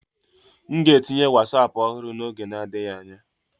M ga-etinye Wosapu ọhụrụ n'oge adịghị anya.